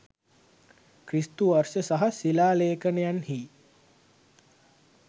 ක්‍රිස්තු වර්ෂ සහ ශිලා ලේඛනයන්හි